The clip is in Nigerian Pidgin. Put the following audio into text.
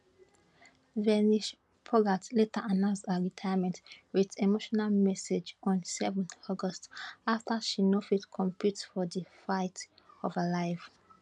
vinesh phogat later announce her retirement wit emotional message on 7 august afta she no fit compete for di fight of her life